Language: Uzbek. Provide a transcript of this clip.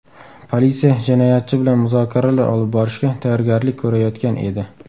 Politsiya jinoyatchi bilan muzokaralar olib borishga tayyorgarlik ko‘rayotgan edi.